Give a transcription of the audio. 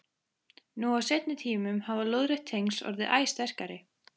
Nú á seinni tímum hafa lóðrétt tengsl orðið æ sterkari.